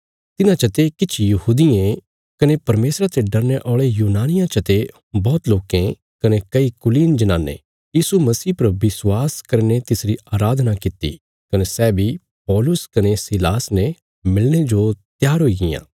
तिन्हां चते किछ यहूदियें कने परमेशरा ते डरने औल़े यूनानियां चते बौहत लोकें कने कई कुलीन जनानें यीशु मसीह पर विश्वास करीने तिसरी अराधना कित्ती कने सै बी पौलुस कने सीलासा ने मिलणे जो त्यार हुई गियां